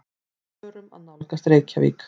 Við förum að nálgast Reykjavík.